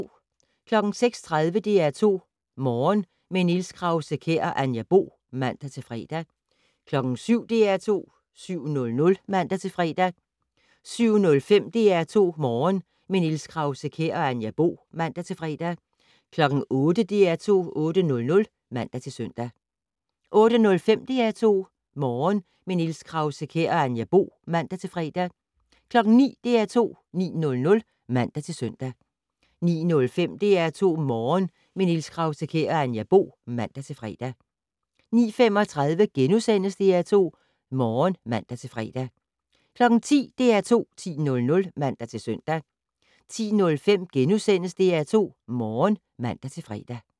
06:30: DR2 Morgen - med Niels Krause-Kjær og Anja Bo (man-fre) 07:00: DR2 7:00 (man-fre) 07:05: DR2 Morgen - med Niels Krause-Kjær og Anja Bo (man-fre) 08:00: DR2 8:00 (man-søn) 08:05: DR2 Morgen - med Niels Krause-Kjær og Anja Bo (man-fre) 09:00: DR2 9:00 (man-søn) 09:05: DR2 Morgen - med Niels Krause-Kjær og Anja Bo (man-fre) 09:35: DR2 Morgen *(man-fre) 10:00: DR2 10:00 (man-søn) 10:05: DR2 Morgen *(man-fre)